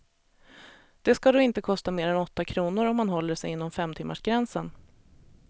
Det ska då inte kosta mer än åtta kronor om man håller sig inom femtimmarsgränsen.